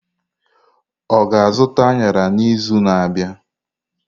Ọ ga-azụta añara n'izu na-abịa?